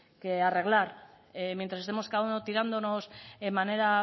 que arreglar mientras estemos cada uno tirándonos en manera